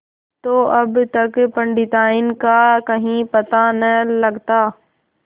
तो अब तक पंडिताइन का कहीं पता न लगता